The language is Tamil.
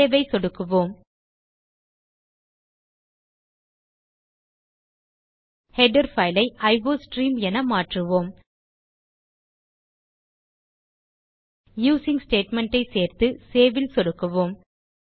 சேவ் ஐ சொடுக்கவும் ஹெடர் பைல் ஐ அயோஸ்ட்ரீம் என மாற்றுவோம் யூசிங் ஸ்டேட்மெண்ட் ஐ சேர்த்து சேவ் ல் சொடுக்குவோம்